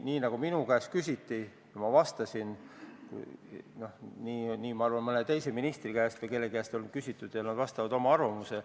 Nii nagu minu käest küsiti ja ma vastasin, nii võidakse küsida ka ministri käest ja ta vastab, öeldes oma arvamuse.